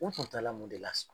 U tun tala mun de la sɔn?